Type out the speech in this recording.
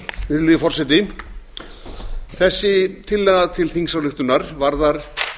virðulegi forseti þessi tillaga til þingsályktunar varðar